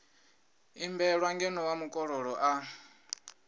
imbelwa ngeno wa mukololo a